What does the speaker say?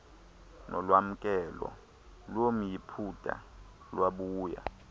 nolwamkelo lomyiputa lwabuya